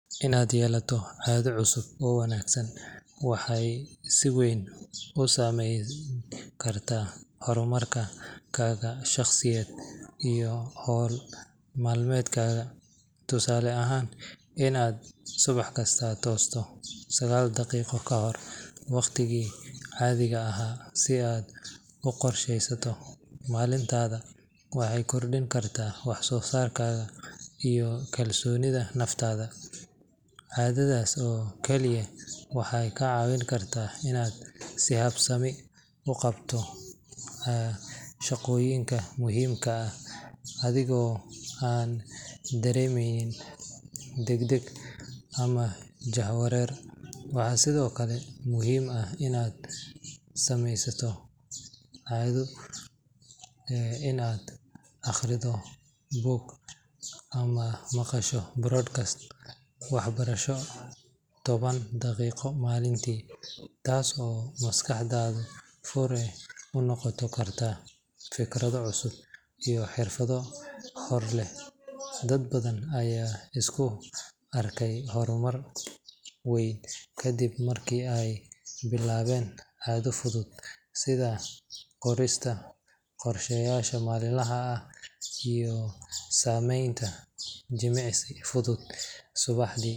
Inad yeelato cadho cusub oo wanagsan waxay si weyn usaameyn karta hormar kaga shaqsiyed iyo owl malmekadha tusale ahaan inaad subah kista toosto sagaal daqiiqo kahor waqtiga caadhiga ahaa si aad uqorshesato malintaadha waxey kordinkartaa waxsosaarkadha iyo kalsoonidha naftaadha. Caadhadhas oo kali ah waxeey kaa cawin karta in aad si habsami uqabato shaqooyinka muhiimka ah adhigoo aan dareemeynin dagdag ama jaha wareer. Waxaa sidhoo kale muhiim ah inaad sameysato caadho inaadbuug ama maqasho broadcasr waxbarasho taban daqiiqo malintii taas oo maskaxdadha furi unoqon karta fikradho cusub ama xirfadho horleh. Dadbadhan ayaa iskuarkey hormar weyn kadib markiey bilaaben caadho fudhud sidha qorista qorsha yaasha maalin laha ah iyo saameynta jimicsi fudhud.